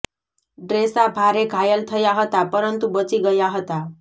ડ્રેસા ભારે ઘાયલ થયા હતા પરંતુ બચી ગયા હતા